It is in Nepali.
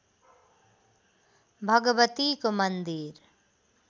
भगवतीको मन्दिर